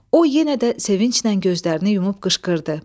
O yenə də sevinclə gözlərini yumub qışqırdı.